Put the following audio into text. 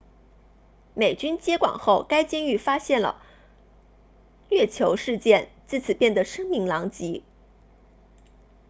美军接管后该监狱发现了虐囚事件自此变得声名狼藉